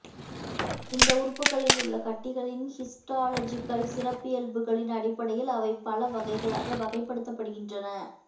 இந்த உறுப்புகளில் உள்ள கட்டிகளின் ஹிஸ்டாலஜிக்கல் சிறப்பியல்புகளின் அடிப்படையில் அவை பல வகைகளாக வகைப்படுத்தப்படுகின்றன